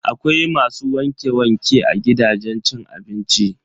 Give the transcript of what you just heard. Akwai masu wanke-wanke a gidajen cin abinci.